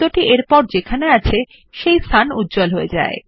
next click করলে সংশ্লিষ্ট focus শব্দের পরবর্তী উদাহরণ এর দিকে হবে